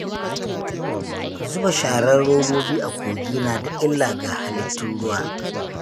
Zuba sharar robobi a kogi na da illa ga halittun ruwa.